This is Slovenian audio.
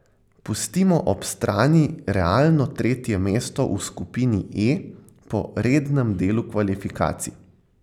Pustimo ob strani realno tretje mesto v skupini E po rednem delu kvalifikacij.